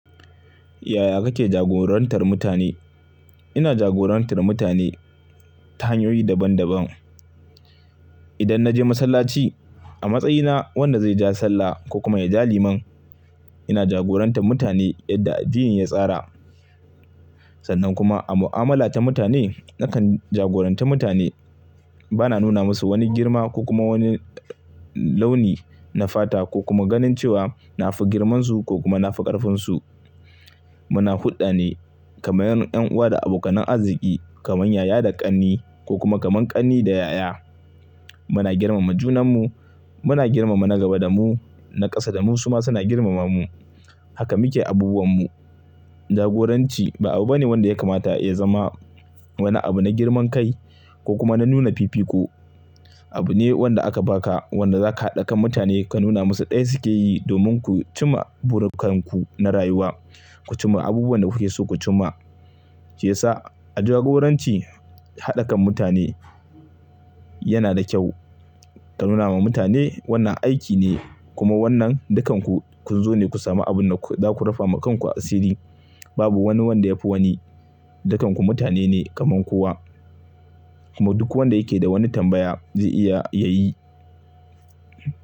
Yaya kake jagorantar mutane? Ina jagorantar mutane ta hanyoyi daban daban. Idan na je masallaci a matsayina, wanda zai ja sallah ko kuma ya ja liman, ina jagorantar mutane yadda addini ya tsara. Sannan kuma a mu'amala ta mutane, nakan jagorantar mutane bana nuna musu wani girma ko kuma wani launi na fata ko kuma ganin cewa na fi girmansu ko kuma na fi ƙarfinsu. Muna hulɗa ne kamar ƴan uwa da abokan arziki kamar yaya da ƙanni ko kuma kamar ƙanni da yaya. Muna girmama junanmu. Muna girmama na gaba da mu, na ƙasa da mu, su ma suna girmama mu. Haka muke abubuwan mu. Jagoranci ba abu bane wanda ya kamata ya zama wani abu na girman kai ko kuma na nuna fifiko. Abu ne wanda aka baka wanda zaka haɗa kan mutane ka nuna musu ɗaya suke yi domin ku cima burikanku na rayuwa. Ku cimma abubuwan da kuke so ku cimma. Shi ya sa a jagoranci, haɗa kan mutane yana da kyau. Ka nuna wa mutane wannan aiki ne kuma wannan dukanku kun zo ne ku sami abin da za ku rufe wa kanku asiri. Babu wani wanda ya fi wani. Dukanku mutane ne kamar kowa kuma duk wanda yake da wani tambaya zai iya ya yi.